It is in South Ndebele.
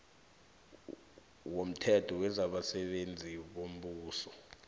womthetho wezabasebenzi bombuso